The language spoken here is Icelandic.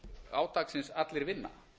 átaksins allir vinna